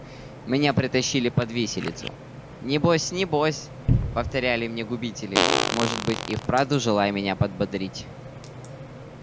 меня притащили под виселицу не бось не бось повторяли мне губители может быть и вправду желая меня подбодрить